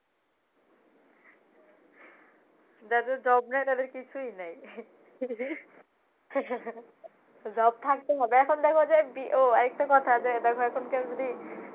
যাদের job নাই তাদের কিছুই নাই। job থাকতে হবে। এখন দেখ যে বিয়ে আহ আর একটা কথা এখনকা যদি